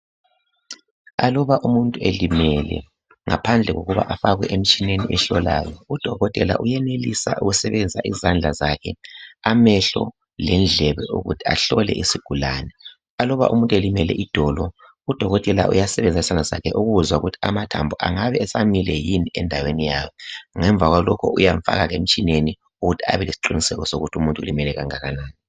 Aluba umuntu elimele ngaphandle kokuba afakwe emtshineni ehlolayo udokotela uyenelisa ukusebenzisa izandla zakhe, amehlo lendlebe ukuthi ahlole isigulane. Aluba umuntu elimele idolo udokotela uyasebenzisa izandla zakhe ukuzwa ukuthi amathambo engabe esamile yini endaweni yawo. Ngemva kwalokho uyamfaka emtshineni ukuze abelesiqiniseko sokuthi umuntu ulimele okungakanani.